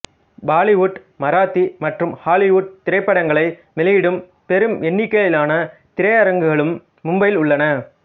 பாலிவுட் மராத்தி மற்றும் ஹாலிவுட் திரைப்படங்களை வெளியிடும் பெரும் எண்ணிக்கையிலான திரையரங்கங்களும் மும்பையில் உள்ளன